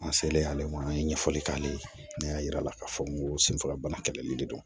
An selen ale ma an ye ɲɛfɔli k'ale ye ne y'a yira k'a fɔ n ko senfagabana kɛlɛli de don